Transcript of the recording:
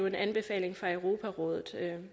en anbefaling fra europarådet